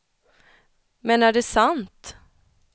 Men är det sant?